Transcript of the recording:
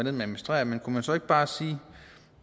administrere men kunne man så ikke bare sige